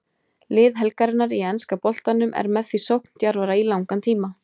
Lið helgarinnar í enska boltanum er með því sókndjarfara í langan tíma.